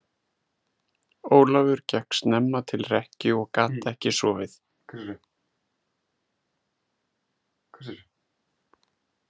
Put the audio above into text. Ólafur gekk snemma til rekkju en gat ekki sofið.